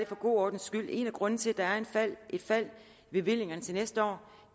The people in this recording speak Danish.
for god ordens skyld en af grundene til at der er et fald i bevillingerne næste år